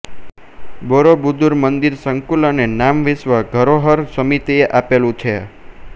Borobudur મંદિર સંકુલએ નામ વિશ્વ ધરોહર સમિતિએ આપેલું છે